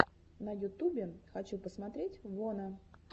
на ютубе хочу посмотреть вона